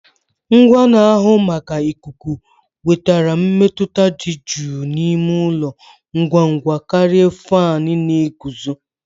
Ngwa na-ahụ maka ikuku wetara mmetụta dị jụụ n'ime ụlọ ngwa ngwa karịa fan na-eguzo